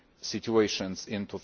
situations in